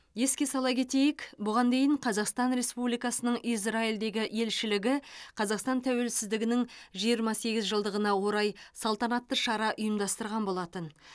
еске сала кетейік бұған дейін қазақстан республикасының израильдегі елшілігі қазақстан тәуелсіздігінің жиырма сегіз жылдығына орай салтанатты шара ұйымдастырған болатын